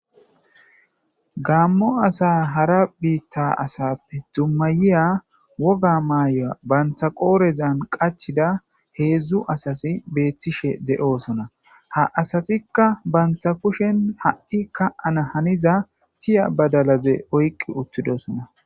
gaammo asa hara biitta asappe dummayiya woga maayya bantha qoorezan qachida heedzdzu asasi beethtishe de7osona ha asatikka bantha kushen ha7i ka7ana haniza tiya badalaze oyqqi uttidosona